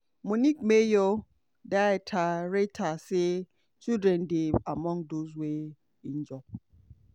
munich mayor dieter reiter say children dey among those wey injure.